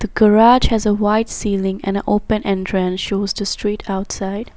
The garage has a white ceiling and open entrance shows the street outside.